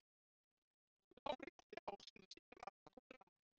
Lárétti ásinn sýnir massatöluna.